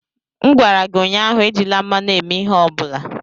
M gwara gị ụnyaahụ, ejila mmanụ a mee ihe ọ bụla!